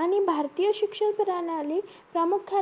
आणि भारतीय शिक्षण प्रणाली प्रामुख्याने